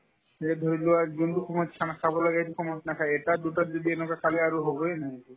বিয়াত ধৰি লোৱাৰ যোনতো সময়ত khana খাব লাগে সেইটো সময়ত নাখাই এটা দুটা যদি এনেকুৱা খালে আৰু হ'বয়ে এনে